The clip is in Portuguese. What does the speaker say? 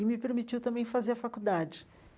E me permitiu também fazer a faculdade.